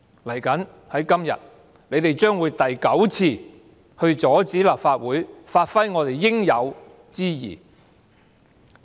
接着下來，今天，他們將會第九次阻止立法會盡應有之義。